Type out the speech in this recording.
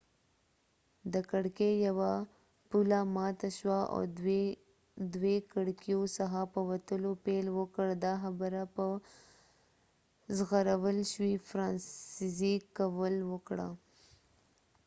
د کړکې یوه پله ماته شوه او دوي کړکېو څخه په وتلو پیل وکړ دا خبره په ژغورل شوي فرانسزیک کوول وکړه